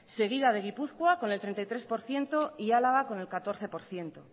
seguida de gipuzkoa con el treinta y tres por ciento y álava con el catorce por ciento